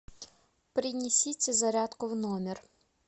принесите зарядку в номер